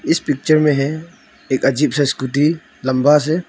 इस पिक्चर में है एक अजीब सा स्कूटी लंबा से--